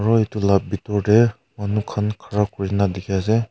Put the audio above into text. aro etu la bitor te manu khan khara kurena dikhi ase.